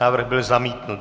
Návrh byl zamítnut.